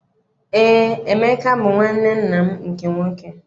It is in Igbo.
Eé, Emeka bụ nwanne nna m nke nwoke.